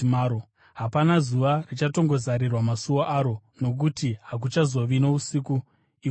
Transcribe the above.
Hapana zuva richatongozarirwa masuo aro, nokuti hakuchazova nousiku ikoko.